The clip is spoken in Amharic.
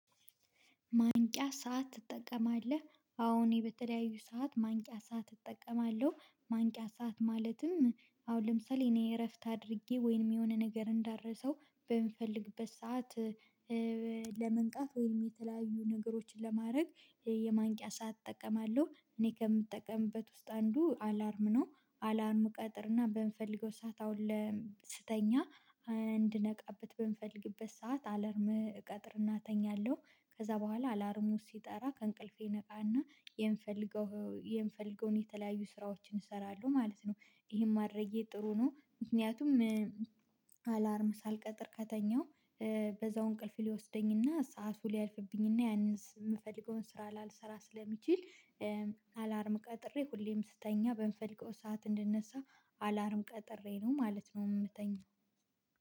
ማንቂያ ሰዓት ትጠቀማለህ? አዎ እኔ በተለያዩ ሰዓት ማንቂያ ሰዓት እጠቀማለሁ ማንቂያ ሰዓት ማለትም አሁን ለምሳሌ እኔ እረፍት አድርጌ ወይም የሆነ ነገር እንዳልረሳው በምፈልግበት ሰዓት ለመንቃት ወይም የተለያዩ ነገሮችን ለማድረግ የማንቂያ ሰዓት እጠቀማለሁ እኔ ከምጠቀምበት ውስጥ አንዱ አላርም ነው አላርም እቀጥርና በምፈልገው ሰዓት አሁን ለ ስተኛ እንድነቃበት በምፈልግበት ሰዓት አላርም እቀጥርና እተኛለሁ ከዛ በኋላ አላርሙ ሲጠራ ከእንቅልፌ እነቃና የምፈልገው የምፈልገውን የተለያዩ ስራዎችን እሰራለሁ ማለት ነው ይሄን ማድረጌ ጥሩ ነው ምክንያቱም አላርም ሳልቀጥር ከተኛው በዛው እንቅልፍ ሊወስደኝና ሰዓቱ ሊያልፍብኝና ያንን የምፈልገውን ስራ ላልሰራ ስለሚችል አላርም ቀጥሬ ሁሌም ስተኛ በምፈልገው ሰዓት እንድነሳ አላርም ቀጥሬ ነው ማለት ነው የምተኛው